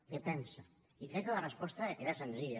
què en pensa i crec que la resposta era senzilla